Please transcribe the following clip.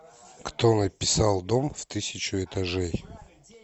кто написал дом в тысячу этажей